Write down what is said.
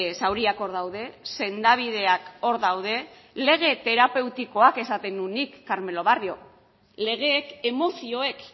zauriak hor daude sendabideak hor daude lege terapeutikoak esaten nuen nik carmelo barrio legeek emozioek